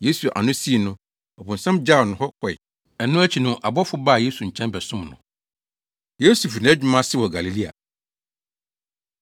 Yesu ano sii no, ɔbonsam gyaw no hɔ kɔe. Ɛno akyi no abɔfo baa Yesu nkyɛn bɛsom no. Yesu Fi Nʼadwuma Ase Wɔ Galilea